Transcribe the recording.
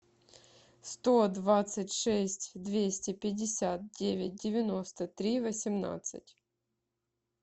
сто двадцать шесть двести пятьдесят девять девяносто три восемнадцать